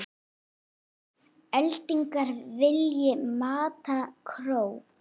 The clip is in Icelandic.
ellegar vilji mata krók.